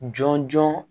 Jɔn jɔn